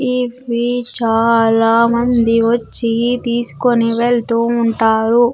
ఇవి చాలా మంది వచ్చి తీసుకొని వెళ్తూ ఉంటారు.